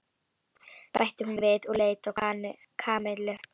bætti hún við og leit á Kamillu.